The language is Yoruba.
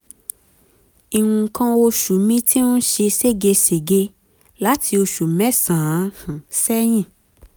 nǹkan oṣù mi ti ń ṣe seégesège láti oṣù mẹ́sàn-án um sẹ́yìn